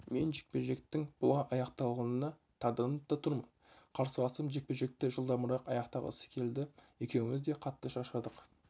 мен жекпе-жектің бұлай аяқталғанына таңданып та тұрмын қарсыласым жекпе-жекті жылдамырақ аяқтағысы келді екеуіміз де қатты шаршадық